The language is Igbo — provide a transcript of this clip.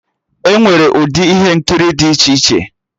Enwere ụdị ihe nkiri dị iche iche